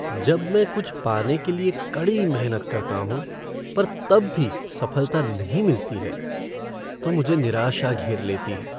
जब मैं कुछ पाने के लिए कड़ी मेहनत करता हूं पर तब भी सफलता नहीं मिलती है तो मुझे निराशा घेर लेती है।